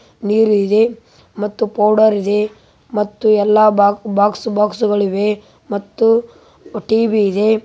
ನೀರು ಇದೆ ಮತ್ತು ಪೌಡರ್‌ ಇದೆ ಮತ್ತು ಎಲ್ಲಾ ಬಾಕ್ಸ್‌ ಬಾಕ್ಸ್‌ಗಳಿವೆ ಮತ್ತು ಟಿ.ವಿ. ಇದೆ